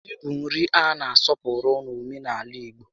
Ji bụ nri a na asọpụrụ n'omenaala igbo